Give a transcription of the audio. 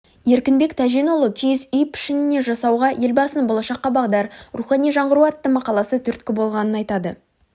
еркінбек тәженұлы киіз үй пішінінде жасауға елбасының болашаққа бағдар рухани жаңғыру атты мақаласы түрткі болғанын айтады